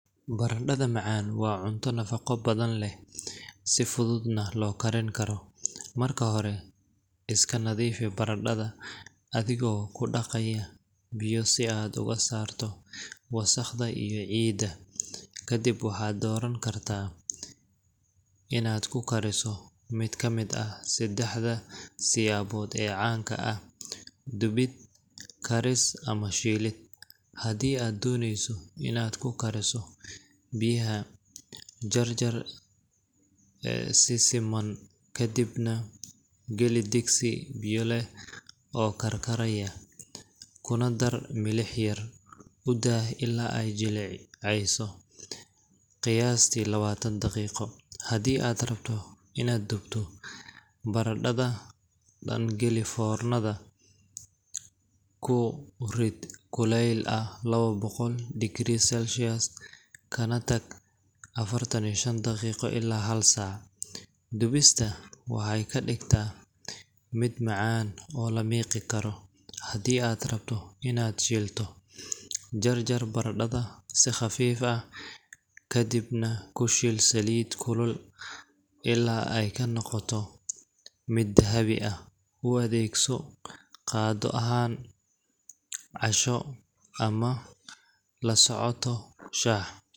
Barandhada macaan waa cunto nafaqo badan leh, si fududna loo karin karo. Marka hore, iska nadiifi barandhada adigoo ku dhaqaya biyo si aad uga saarto wasakhda iyo ciidda. Kadib waxaad dooran kartaa inaad ku kariso mid ka mid ah saddexda siyaabood ee caanka ah: dubid, karis ama shiilid. Haddii aad dooneyso inaad ku kariso biyaha, jarjar si siman kadibna geli digsi biyo leh oo karkaraya, kuna dar milix yar; u daa ilaa ay jilcayso qiyaastii lawatan daqiiqo. Haddii aad rabto inaad dubto, barandhada dhan geli foornada, ku rid kuleyl ah lawa boqol degree celcius, kana tag affartaniyo shan daqiiqo ilaa hal saac. Dubista waxay ka dhigtaa mid macaan oo la miqi karo. Haddii aad rabto inaad shiilto, jarjar barandhada si khafiif ah, kadibna ku shiil saliid kulul ilaa ay ka noqoto mid dahabi ah. U adeegso qado ahaan, casho, ama la socoto shaah.